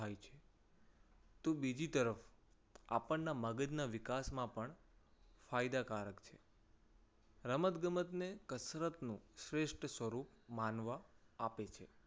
થાય છે. તો બીજી તરફ આપણના મગજના વિકાસમાં પણ ફાયદાકારક છે. રમતગમતને કસરતનો શ્રેષ્ઠ સ્વરૂપ માનવા આપે છે.